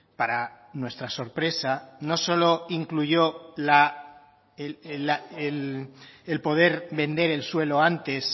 para nuestra sorpresa no solo incluyó el poder vender el suelo antes